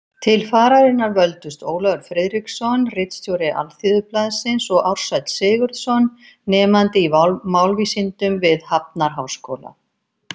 Til fararinnar völdust Ólafur Friðriksson, ritstjóri Alþýðublaðsins, og Ársæll Sigurðsson, nemandi í málvísindum við Hafnarháskóla.